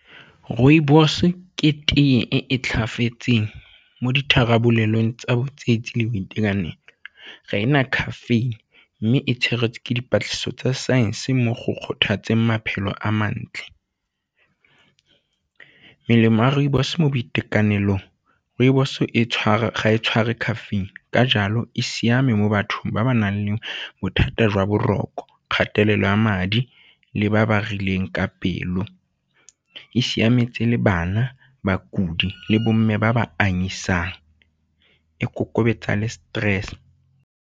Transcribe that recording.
Rooibos ke tee e e mo ditharabolelong tsa le boitekanelo, ga e na caffeine mme e tshegetse ke dipatlisiso tsa science mo go kgothatseng maphelo a mantle. Melemo ya rooibos mo boitekanelong rooibos ga e tshware caffeine ka jalo e siame mo bathong ba ba nang le bothata jwa boroko, kgatelo ya madi le ba ba rileng ka pelo, e siametse le bana, bakudi le bomme ba ba anyisang, e kokobatsa le stress.